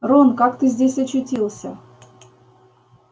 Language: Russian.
рон как ты здесь очутился